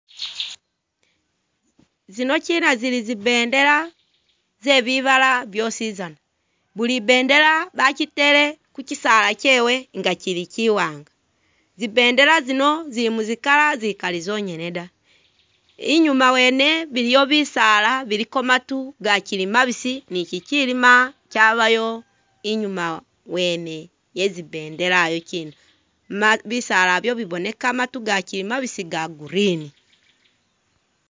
Zinokina zili zi bendela ze bibala byosizana. Buli i'bendela bajitele ku kisaala kyewe nga kili kiwaanga. Zi bendela zino zili mu zi colour zikali zonyene da. Inyuuma wene biliwo bisaala biliko matu gakili mabisi ni kikilima kyabayo inyuma wene ye zi bendela iyokina, bisaala byene biboneka matu gakili mabisi ga green.